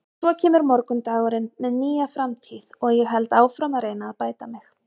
Svo kemur morgundagurinn með nýja framtíð og ég held áfram að reyna að bæta mig.